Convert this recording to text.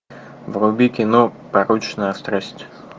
вруби кино порочная страсть